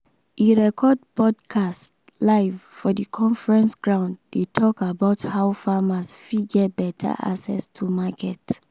e record podcast live for the conference ground dey talk about how farmers fit get better access to market.